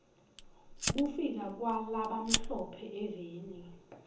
kufika kwala bamhlo phe eveni